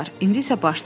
İndi isə başlayaq.